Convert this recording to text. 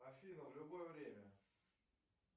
афина в любое время